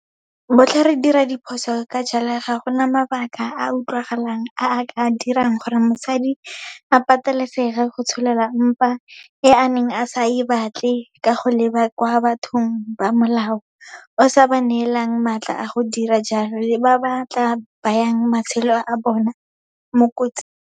Botlhe re dira diphoso ka jalo, ga gona mabaka a a utlwagalang a a ka dirang gore mosadi a patelesege go tsholola mpa e a neng a sa e batle ka go leba kwa bathong ba molao o sa ba neelang matla a go dira jalo le ba ba tla bayang matshelo a bona mo kotsing.